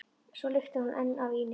Svo lyktar hún enn af víni.